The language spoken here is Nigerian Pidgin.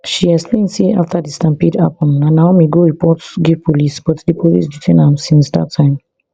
she explain say afta di stampede happun na naomi go report give police but di police detain am since dat time